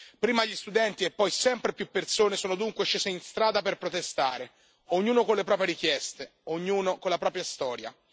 Prima gli studenti e poi sempre più persone sono dunque scesi in strada per protestare, ognuno con le proprie richieste, ognuno con la propria storia.